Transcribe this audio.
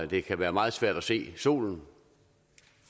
det kan være meget svært at se solen